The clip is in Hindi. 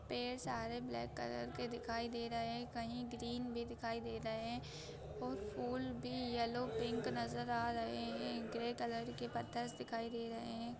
पेड़ सारे ब्लैक कलर के दिखाई दे रहे है कही ग्रीन भी दिखाई दे रहे है और फूल भी येलो पिंक नज़र आ रहे है ग्रे कलर के पत्थर से दिखाई दे रहे है।